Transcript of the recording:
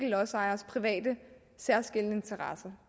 lodsejers private særskilte interesse